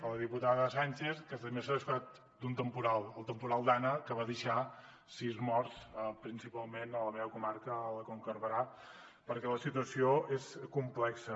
a la diputada sànchez que s’ha descuidat d’un temporal el temporal dana que va deixar sis morts principalment a la meva comarca a la conca de barberà perquè la situació va ser complexa